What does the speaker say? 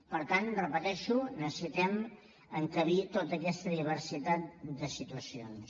per tant ho repeteixo necessitem encabir tota aquesta diversitat de situacions